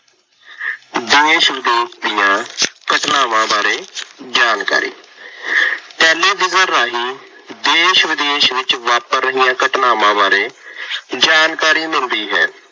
ਦੇਸ਼ ਵਿਦੇਸ਼ ਦੀਆਂ ਘਟਨਾਵਾਂ ਬਾਰੇ ਜਾਣਕਾਰੀ। ਟੈਲੀਵਿਜ਼ਨ ਰਾਹੀ ਦੇਸ਼ ਵਿਦੇਸ਼ ਵਿੱਚ ਵਾਪਰ ਰਹੀਆਂ ਘਟਨਾਵਾ ਬਾਰੇ ਜਾਣਕਾਰੀ ਮਿਲਦੀ ਹੈ।